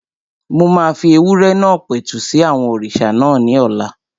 Mo máa fi ewúrẹ́ náà pẹ̀tù sí àwọn òrìṣà náà ní ọ̀la